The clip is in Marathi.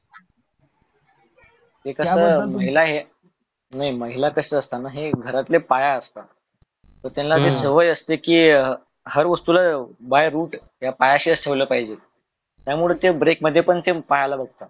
इकड महिला कस असत हे घरातले पाय असत तर त्यांना सवय असते कि अं हर वस्तुला by root त्या पायाशीस ठेवल पाहिजे त्या मुळे ते break मध्ये पायाला बघतात